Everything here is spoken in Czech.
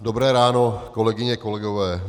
Dobré ráno, kolegyně, kolegové.